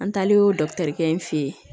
An taalen o in fɛ ye